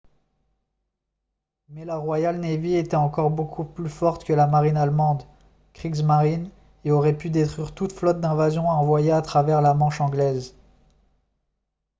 mais la royal navy était encore beaucoup plus forte que la marine allemande « kriegsmarine » et aurait pu détruire toute flotte d'invasion envoyée à travers la manche anglaise